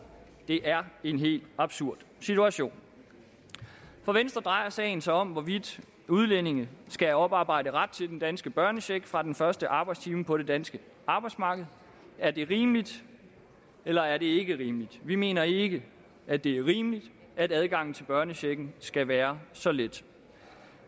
det er en helt absurd situation for venstre drejer sagen sig om hvorvidt udlændinge skal oparbejde ret til den danske børnecheck fra den første arbejdstime på det danske arbejdsmarked er det rimeligt eller er det ikke rimeligt vi mener ikke at det er rimeligt at adgangen til børnechecken skal være så let